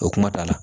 O kuma da la